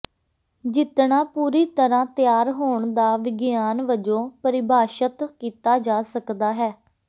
ਜਿੱਤਣਾ ਪੂਰੀ ਤਰ੍ਹਾਂ ਤਿਆਰ ਹੋਣ ਦਾ ਵਿਗਿਆਨ ਵਜੋਂ ਪਰਿਭਾਸ਼ਤ ਕੀਤਾ ਜਾ ਸਕਦਾ ਹੈ